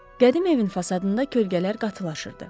Qədim evin fasadında kölgələr qatlaşırdı.